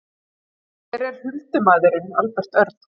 Hver er huldumaðurinn Albert Örn?